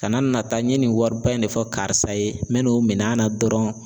Kana nata n ye nin wariba in de fɔ karisa ye n bɛn'o min'a na dɔrɔn